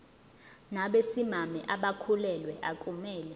nabesimame abakhulelwe akumele